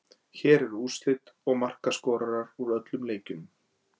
Hér eru úrslit og markaskorarar úr öllum leikjunum: